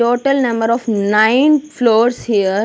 Total number of nine floors here.